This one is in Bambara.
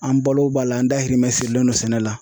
An balo b'a la an dahirimɛ sirilen do sɛnɛ la.